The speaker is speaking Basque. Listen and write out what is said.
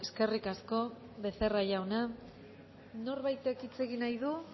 eskerrik asko becerra jauna norbaitek hitz egin nahi du